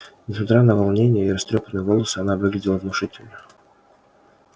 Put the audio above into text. несмотря на волнение и растрёпанные волосы она выглядела внушительно